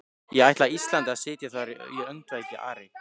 Ég ætla Íslandi að sitja þar í öndvegi, Ari!